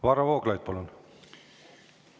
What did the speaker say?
Varro Vooglaid, palun!